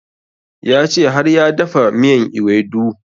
Ya ce har ya dafa miyan ewedu